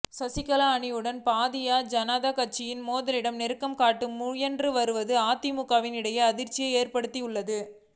சசிகலா அணியுடன் பாரதிய ஜனதா கட்சியின் மேலிடம் நெருக்கம் காட்ட முயன்று வருவது அதிமுகவினர் இடையே அதிர்ச்சியை ஏற்படுத்தியுள்ளது